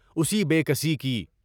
اُسی بے کسی کی